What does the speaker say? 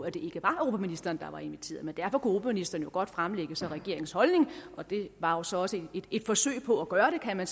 at det ikke var europaministeren der var inviteret men derfor kunne europaministeren jo godt fremlægge regeringens holdning og det var så også et forsøg på at gøre det kan man